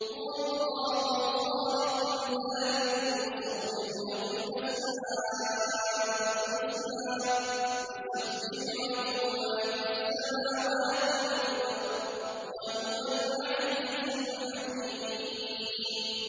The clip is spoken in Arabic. هُوَ اللَّهُ الْخَالِقُ الْبَارِئُ الْمُصَوِّرُ ۖ لَهُ الْأَسْمَاءُ الْحُسْنَىٰ ۚ يُسَبِّحُ لَهُ مَا فِي السَّمَاوَاتِ وَالْأَرْضِ ۖ وَهُوَ الْعَزِيزُ الْحَكِيمُ